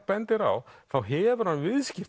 bendir á þá hefur hann